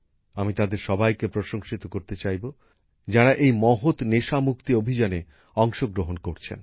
আমি তাঁদের সবাইকে প্রশংসিত করতে চাইব যাঁরা এই মহত নেশা মুক্তি অভিযানে অংশগ্রহণ করছেন